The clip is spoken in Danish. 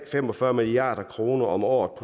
fem og fyrre milliard kroner om året